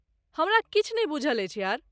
हमरा किछु नै बुझल अछि यार!